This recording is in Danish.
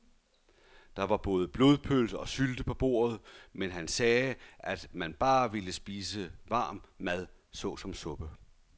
Der var både blodpølse og sylte på bordet, men han sagde, at han bare ville spise varm mad såsom suppe.